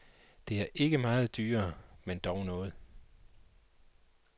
Det er ikke meget dyrere, men dog noget.